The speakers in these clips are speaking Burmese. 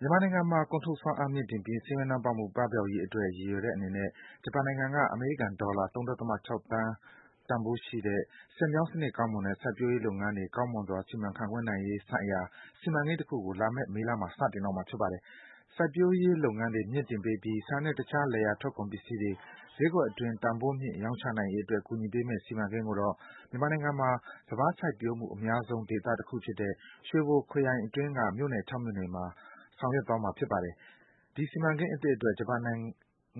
မြန်မာနိုင်ငံမှာ ကုန်ထုတ်စွမ်းအားမြှင့်တင်ပြီး ဆင်းရဲနွမ်းပါးမှုပပျောက်ရေးအတွက် ရည်ရွယ်ပြီး ဂျပန်နိုင်ငံက အမေရိကန်ဒေါ်လာ ၃.၆ သန်းတန်ဖိုးရှိတဲ့ ဆည်မြောင်း စံနစ်ကောင်းမွန်ဖို့နဲ့ စိုက်ပျိုးရေးလုပ်ငန်းတွေ ကောင်းမွန်စွာ စီမံခန့်ခွဲနိုင်ရေးဆိုင်ရာ စီမံကိန်းတခုကို လာမယ့် မေလမှာ စတင်တော့မှာ ဖြစ်ပါတယ်။ စိုက်ပျိုးလုပ်ငန်းတွေ မြှင့်တင်ပေးပြီး ဆန်နဲ့ တခြားလယ်ယာထွက်ကုန်ပစ္စည်းတွေ ဈေးကွက်အတွင်း တန်ဖိုးမြင့် ရောင်းချနိုင်ရေးအတွက် ကူညီပေးမယ့် စီမံကိန်းကိုတော့ မြန်မာနိုင်ငံမှာ စပါးစိုက်ပျိုးမှုအများဆုံးဒေသတခုဖြစ်တဲ့ ရွှေဘိုခရိုင်အတွင်းက မြို့နယ် ၆ မြို့နယ်မှာ ဆောင်ရွက်သွားမှာ ဖြစ်ပါတယ်။ ဒီစီမံကိန်းအသစ်အတွက် ဂျပန်နိုင်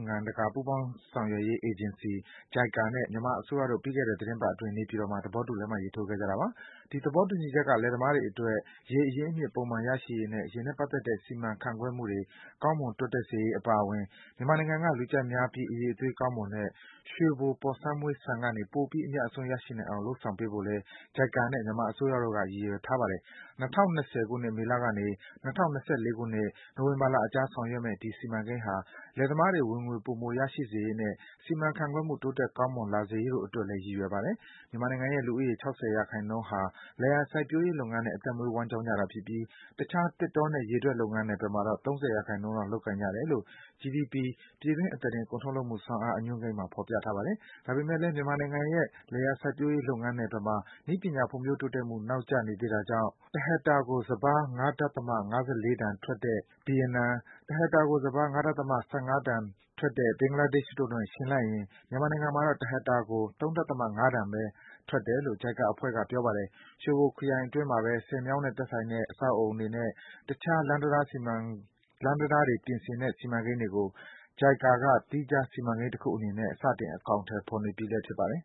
ငံတကာပူးပေါင်းဆောင်ရွက်ရေး အေဂျင်စီ JICA နဲ့ မြန်မာအစိုးရတို့ ပြီးခဲ့တဲ့ သီတင်းပတ်အတွင်း နေပြည်တော်မှာ သဘောတူ လက်မှတ်ရေး ထိုးခဲ့ကြတာပါ။ ဒီသဘောတူညီချက်က လယ်သမားတွေအတွက် ရေအရင်းအမြစ် ပုံမှန်ရရှိရေးနဲ့ ရေနဲ့ပတ်သက်တဲ့ စီမံခန့်ခွဲမှုတွေ ကောင်းမွန်တိုးတက်စေရေး အပါအဝင် မြန်မာနိုင်ငံက လူကြိုက်များပြီး အရည်အသွေးကောင်းမွန်တဲ့ ရွှေဘို ပေါ်ဆန်းမွှေးဆန်ကနေ ပိုပြီး အမြတ်အစွန်း ရရှိနိုင်အောင် လုပ်ဆောင်ပေးဖို့လည်း JICA နဲ့ မြန်မာအစိုးရတို့က ရည်ရွယ်ထားပါတယ်။ ၂၀၂၀ ခုနှစ် မေလကနေ ၂၀၂၄ ခုနှစ် နိုဝင်ဘာလအကြား ဆောင်ရွက်မယ့် ဒီစီမံကိန်းဟာ လယ်သမားတွေ ဝင်ငွေ ပိုမိုရရှိစေရေးနဲ့ စီမံခန့်ခွဲမှု တိုးတက် ကောင်းမွန်လာစေရေးတို့အတွက်လည်း ရည်ရွယ်ပါတယ်။ မြန်မာနိုင်ငံရဲ့ လူဦးရေ ၆၀% ဟာ လယ်ယာစိုက်ပျိုးရေးလုပ်ငန်းနဲ့ အသက်မွေးဝမ်းကျောင်းကြတာဖြစ်ပြီး တခြား သစ်တောနဲ့ ရေထွက်လုပ်ငန်း နယ်ပယ်မှာတော့ ၃၀% လောက် လုပ်ကိုင်ကြတယ်လို့ GDP ပြည်တွင်း အသားတင် ကုန်ထုတ်လုပ်မှုစွမ်းအား အညွန်းကိန်းမှာ ဖော်ပြထားပါတယ်။ ဒါပေမယ့်လည်း မြန်မာနိုင်ငံရဲ့ လယ်ယာစိုက်ပျိုးရေး လုပ်ငန်းနယ်ပယ်မှာ နည်းပညာ ဖွွံံ့ဖြိုးတိုးတက်မှု နောက်ကျနေသေးတောကြောင့် တဟက်တာကို စပါး ၅.၅၄ တန်ထွက်တဲ့ ဗီယက်နမ်၊ တဟက်တာကို စပါး ၅.၁၅ တန်တဲ့ ဘင်္ဂလားဒေ့ရှ်တို့နဲ့ ယှဉ်လိုက်ရင် မြန်မာနိုင်ငံမှာတော့ တဟက်တာကို ၃.၅ တန်ဘဲ ထွက်တယ်လို့ JICA အဖွဲ့က ပြောပါတယ်။ ရွှေဘိုခရိုင်အတွင်းမှာဘဲ ဆည်မြောင်းနဲ့သက်ဆိုင်တဲ့ အဆောက်အဦးတွေနဲ့ တခြား လမ်းတံတားတွေ ပြင်ဆင်တဲ့ စီမံကိန်းတွေကို JICA က သီးခြား စီမံကိန်းတခုအနေနဲ့ စတင် အကောင်အထည် ဖော်နေပြီး ဖြစ်ပါတယ်။